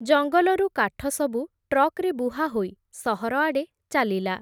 ଜଙ୍ଗଲରୁ କାଠ ସବୁ, ଟ୍ରକ୍‌ରେ ବୁହାହୋଇ, ସହରଆଡ଼େ ଚାଲିଲା ।